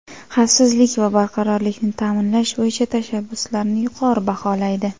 xavfsizlik va barqarorlikni ta’minlash bo‘yicha tashabbuslarini yuqori baholaydi.